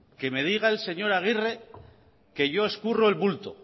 que me diga el señor agirre